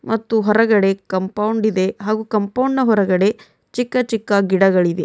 ಮತ್ತು ಹೊರಗಡೆ ಕಾಂಪೌಂಡ್ ಇದೆ ಹಾಗೂ ಕಾಂಪೌಂಡ್ ನ ಹೊರಗಡೆ ಚಿಕ್ಕ ಚಿಕ್ಕ ಗಿಡಗಳಿವೆ.